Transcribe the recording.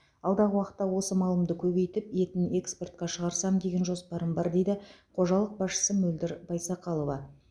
алдағы уақытта осы малымды көбейтіп етін экспортқа шағырсам деген жоспарым бар дейді қожалық басшысы мөлдір байсақалова